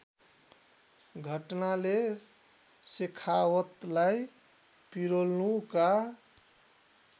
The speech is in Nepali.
घटनाले शेखावतलाई पिरोल्नुका